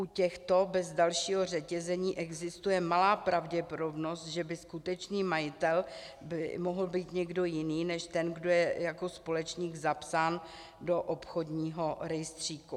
U těchto bez dalšího řetězení existuje malá pravděpodobnost, že by skutečný majitel mohl být někdo jiný než ten, kdo je jako společník zapsán do obchodního rejstříku.